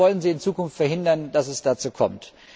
Wie wollen sie in Zukunft verhindern, dass es dazu kommt?